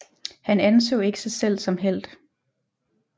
Han anså ikke sig selv som helt